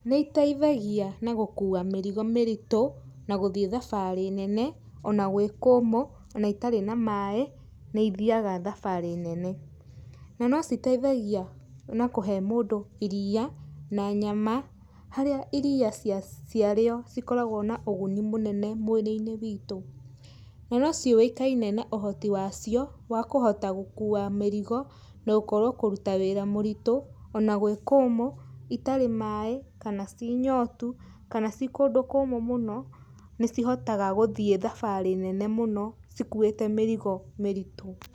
Nĩ iteithagia na gũkua mĩrigo mĩritũ, na gũthiĩ thabarĩ nene, ona gwĩ kumu ona itarĩ na maĩ, nĩ ithiaga thabarĩ nene. Na no citeithagia na kũhe mũndũ iria na nyama, harĩa iria ciarĩo cikoragwo na ũguni mũnene mwĩrĩ-inĩ witũ. Na no ciũĩkaine na ũhoti wacio, wa kũhota gũkua mĩrigo, na gũkorwo kũruta wĩra mũritũ, ona gwĩ kũmũ, itarĩ maĩ, kana ci nyotu, kana ci kũndũ kũmũ mũno, nĩ cihotaga gũthiĩ thabarĩ nene mũno cikuĩte mĩrigo mĩritũ.